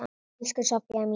Elsku Soffía mín.